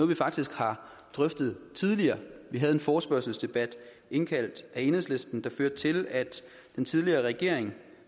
vi faktisk har drøftet tidligere vi havde en forespørgselsdebat indkaldt af enhedslisten der førte til at den tidligere regering